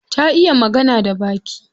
Ta iya magana da baki?